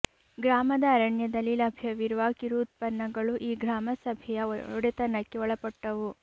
ಗ್ರಾಮದ ಅರಣ್ಯದಲ್ಲಿ ಲಭ್ಯವಿರುವ ಕಿರು ಉತ್ಪನ್ನಗಳು ಈ ಗ್ರಾಮ ಸಭೆಯ ಒಡೆತನಕ್ಕೆ ಒಳಪಟ್ಟವು